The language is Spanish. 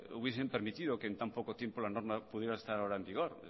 hubiesen permitido que en tan poco tiempo la norma pudiera estar en vigor